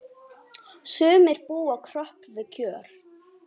Sumir búa kröpp við kjör.